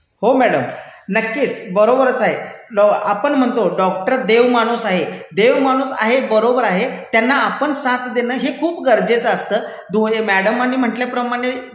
हो मैडम, नक्कीच. बरोबरच आहे. आपण म्हणतो, डॉक्टर देवमाणूस आहे. देवमाणूस आहे बरोबर आहे, त्यांना आपण साथ देणं हे खूप गरजेचं असतं. हे मैडमांनी म्हंटल्याप्रमाणे,